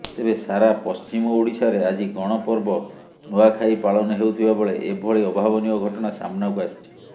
ତେବେ ସାରା ପଶ୍ଚିମଓଡିଶାରେ ଆଜି ଗଣପର୍ବ ନୂଆଖାଇ ପାଳନ ହେଉଥିବା ବେଳେ ଏଭଳି ଅଭାବନୀୟ ଘଟଣା ସାମ୍ନାକୁ ଆସିଛି